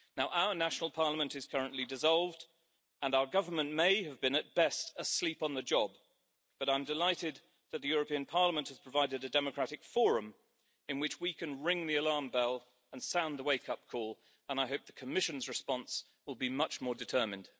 Our national parliament is currently dissolved and our government may have been at best asleep on the job, but I'm delighted that the European Parliament has provided a democratic forum in which we can ring the alarm bell and sound the wake up call and I hope the Commission's response will be much more determined.